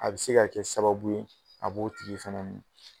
A bɛ se ka kɛ sababu ye a b'o tigi fana minɛ.